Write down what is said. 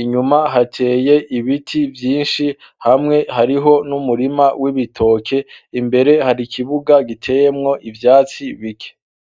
inyuma hateye ibiti vyinshi hamwe hariho n'umurima w'ibitoke imbere hari ikibuga giteyemwo ivyatsi bike.